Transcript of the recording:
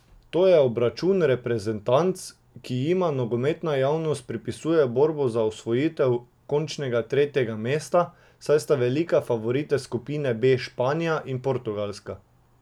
To je obračun reprezentanc, ki jima nogometna javnost pripisuje borbo za osvojitev končnega tretjega mesta, saj sta velika favorita skupine B Španija in Portugalska.